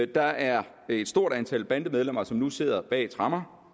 der er et stort antal bandemedlemmer som nu sidder bag tremmer